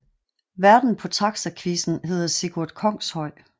Værten på Taxaquizzen hedder Sigurd Kongshøj